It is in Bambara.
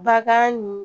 Bagan nin